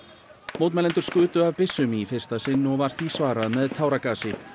mótmælendur skutu af byssum í fyrsta sinn og var því svarað með táragasi